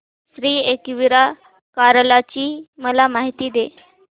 श्री एकविरा कार्ला ची मला माहिती दे